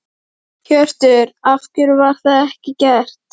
Hjörtur: Af hverju var það ekki gert?